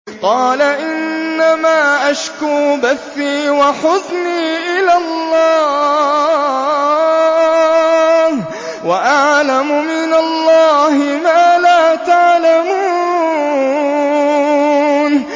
قَالَ إِنَّمَا أَشْكُو بَثِّي وَحُزْنِي إِلَى اللَّهِ وَأَعْلَمُ مِنَ اللَّهِ مَا لَا تَعْلَمُونَ